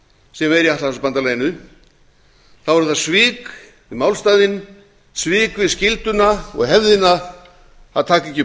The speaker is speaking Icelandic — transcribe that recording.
sem er í atlantshafsbandalaginu eru það svik við málstaðinn svik við skylduna og hefðina að taka ekki upp